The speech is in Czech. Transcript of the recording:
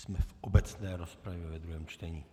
Jsme v obecné rozpravě ve druhém čtení.